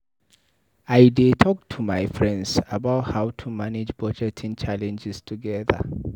I dey talk to my friends about how to manage budgeting challenges together.